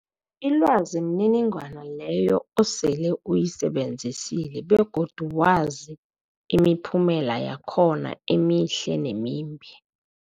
Ilwazi mniningwana leyo osele uyisebenzisile begodu wazi imiphumela yakhona emihle nemimbi.